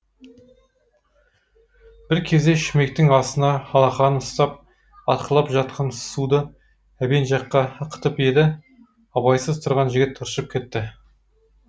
бір кезде шүмектің астына алақанын ұстап атқылап жатқан суды әбен жаққа ытқытып еді абайсыз тұрған жігіт ыршып кетті